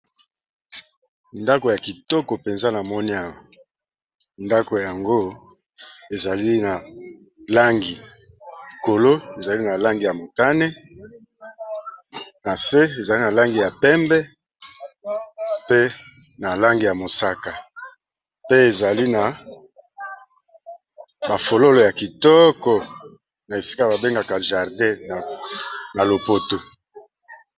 Ndako ya kitoko mpenza na moni awa ndako yango ezali na langi kolo ezali na langi ya motane, na se ezali na langi ya pembe, pe na langi ya mosaka. Pe ezali na ba fololo ya kitoko, na esika ba bengaka jardin na lopoto.